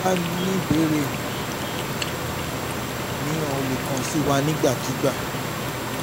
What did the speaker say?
bí o bá ní ìbéèrè míràn o lè kàn sí wa nígbàkigbà